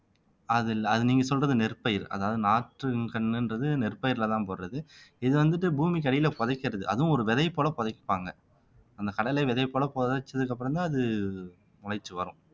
அது இல்ல அது நீங்க சொல்றது நெற்பயிர் அதாவது நாற்று கண்ணுன்றது நெற்பயிர்லதான் போடுறது இது வந்துட்டு பூமிக்கு அடியில புதைக்கிறது அதுவும் ஒரு விதை போல புதைப்பாங்க அந்த கடலை விதை போல புதைச்சதுக்கு அப்புறம்தான் அது முளைச்சு வரும்